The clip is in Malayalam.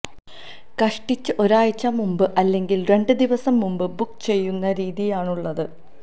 കഷ്ടിച്ച് ഒരാഴ്ച മുന്പ് അല്ലെങ്കിൽ രണ്ട് ദിവസം മുൻപ് ബുക്ക് ചെയ്യുന്ന രീതിയാണുള്ളത്